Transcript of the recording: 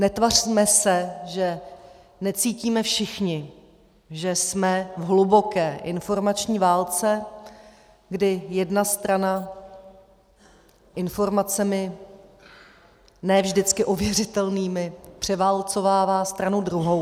Netvařme se, že necítíme všichni, že jsme v hluboké informační válce, kdy jedna strana informacemi ne vždycky ověřitelnými převálcovává stranu druhou.